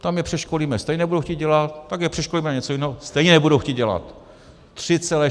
Tam je přeškolíme, stejně nebudou chtít dělat, pak je přeškolíme na něco jiného, stejně nebudou chtít dělat.